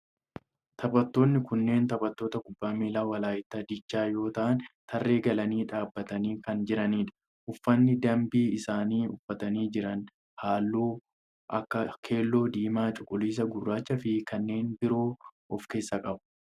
Taphattooni kunneen taphattoota kubbaa miilaa walaayittaa diichaa yoo ta'aan tarree galanii dhaabbatanii kan jiranidha. Uffanni dambii isaan uffatanii jiran halluu akka keelloo, diimaa, cuquliisa, gurraachaa fi kanneen biroo of keessaa qaba.